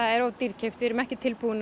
er of dýrkeypt við erum ekki tilbúin